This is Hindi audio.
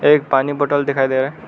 एक पानी बोतल दिखाई दे रहा है।